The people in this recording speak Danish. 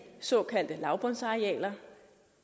såkaldte lavbundsarealer